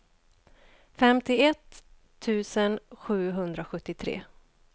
femtioett tusen sjuhundrasjuttiotre